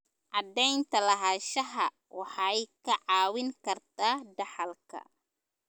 Cadaynta lahaanshaha waxay kaa caawin kartaa dhaxalka.